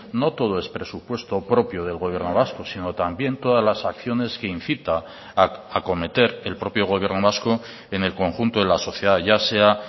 no todo es presupuesto propio del gobierno vasco sino también todas las acciones que incita a acometer el propio gobierno vasco en el conjunto de la sociedad ya sea